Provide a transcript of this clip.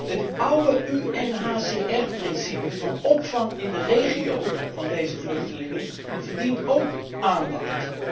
Het oude UNHCR principe van opvang in de regio van deze vluchtelingen verdient ook aandacht.